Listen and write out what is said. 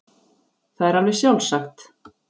Það er alveg sjálfsagt.